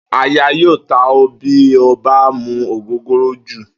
Àyà yóò ta ó̩ bí o bá mu ògógóró jù